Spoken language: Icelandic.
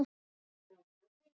Ég gat ekki grátið.